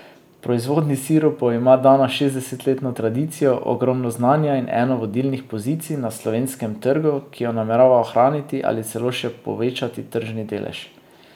V proizvodnji sirupov ima Dana šestdesetletno tradicijo, ogromno znanja in eno vodilnih pozicij na slovenskem trgu, ki jo namerava ohraniti ali celo še povečati tržni delež.